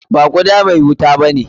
Ba guda mai wuta bane.